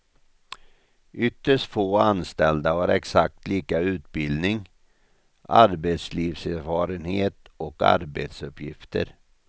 Ytterst få anställda har exakt lika utbildning, arbetslivserfarenhet och arbetsuppgifter.